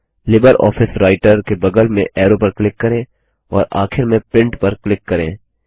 LibreOffice Writer के बगल में ऐरो पर क्लिक करें और आखिर में प्रिंट पर क्लिक करें